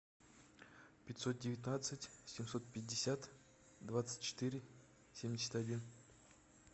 пятьсот девятнадцать семьсот пятьдесят двадцать четыре семьдесят один